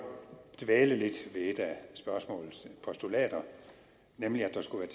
dvæle lidt ved et af spørgsmålets postulater nemlig at der skulle